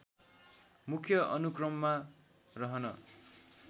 मुख्य अनुक्रममा रहन